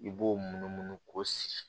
I b'o mun munumunu k'o sigi